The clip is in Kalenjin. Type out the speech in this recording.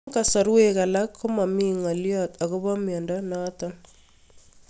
Eng'kasarwek alak ko mami ng'alyo akopo miondo notok